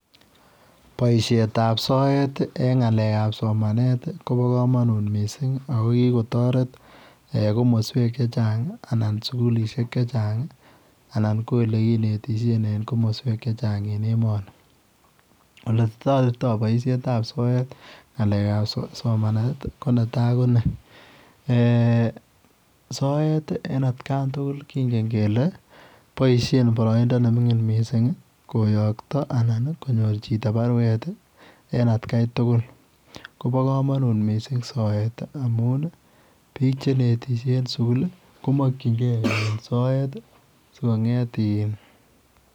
Boisiet ab soet eng ngalek ab somanet koba kamanut missing ako kikotaret eeh komosweek che chaang ii anan sugulisheek che chaang ii anan ko ole kinetisien eng komosweek che chaang eng emani ole taretii boisiet ab soet ngalek ab somanet ko netai ko ni soet ii en at kaan tugul kongeen kele boisien baraindaa ne mingiin missing koyaakta anan konyoor chitoo baruet ii en at Kai tugul kobaa kamanuut missing soet ii amuun ii biik che netishe eng sugul ii komakyigei soet ii sikongeet iin .